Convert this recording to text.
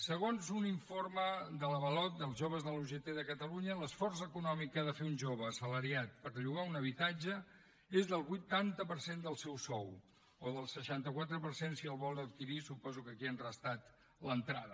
segons un informe d’avalot dels joves de la ugt de catalunya l’esforç econòmic que ha de fer un jove assalariat per llogar un habitatge és del vuitanta per cent del seu sou o del seixanta quatre per cent si el vol adquirir suposo que aquí hi han restat l’entrada